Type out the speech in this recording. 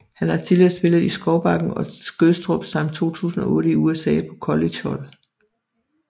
Han har tidligere spillet i Skovbakken og Skødstrup samt 2008 i USA på collegehold